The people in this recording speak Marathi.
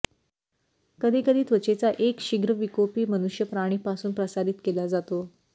कधी कधी त्वचेचा एक शीघ्रविकोपी मनुष्य प्राणी पासून प्रसारित केला जातो